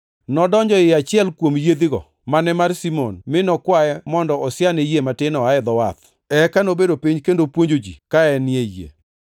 Nodonjo ei achiel kuom yiedhigo, mane mar Simon, mi nokwaye mondo osiane yie matin oa e dho wath. Eka nobedo piny kendo puonjo ji ka enie yie.